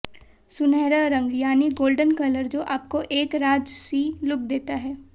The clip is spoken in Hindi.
सुनहरा रंग यानि गोल्डन कलर जो आपको एक राजसी लुक देता है